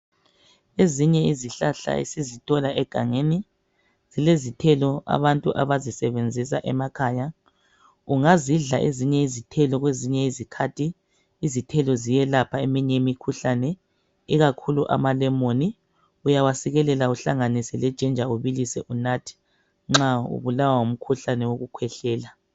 Ezinye izihlahla esizithola egangeni zilezithelo abantu abazisebenzisa emakhaya. Ungazidla ezinye izithelo kwezinye izikhathi, izithelo ziyelapha eminye imikhuhlane ikakhulu amalemoni uyawasikelela uhlanganise lejinja ubilise unathe nxa ubulawa ngumkhuhlane wokukhwehlela.